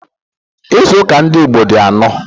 Ịzụuka ndị Igbo di anọ